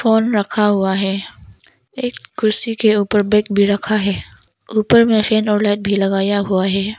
On रखा हुआ हैं एक कुर्सी के ऊपर बैग भी रखा है ऊपर में फैन और लाइट भी लगाया हुआ हैं।